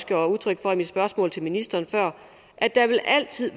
gav udtryk for i mit spørgsmål til ministeren før at der altid